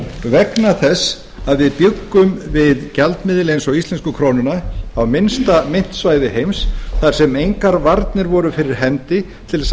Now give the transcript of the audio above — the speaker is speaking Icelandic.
vegna þess að við bjuggum við gjaldmiðil eins og íslensku krónuna á minnsta myntsvæði heims þar sem engar varnir voru fyrir hendi til